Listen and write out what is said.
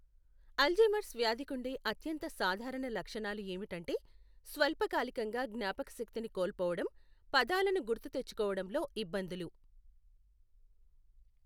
Alzheimer's వ్యాధికుండే అత్యంత సాధారణ లక్షణాలు ఏమిటంటే, స్వల్పకాలికంగా జ్ఞాపకశక్తిని కోల్పోవడం, పదాలను గుర్తుతెచ్చుకోవడంలో ఇబ్బందులు.